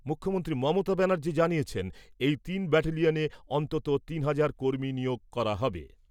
মুখ্যমন্ত্রী মমতা ব্যানার্জী জানিয়েছেন এই তিন ব্যাটেলিয়নে অন্তত তিন হাজার কর্মী নিয়োগ করা হবে।